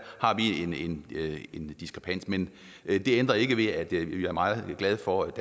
har vi en diskrepans men det ændrer ikke ved at vi er meget glade for